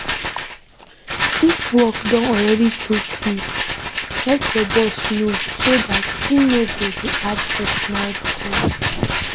If work don already choke you, let your boss know so dat im no go dey add personal requests